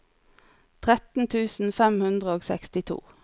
tretten tusen fem hundre og sekstito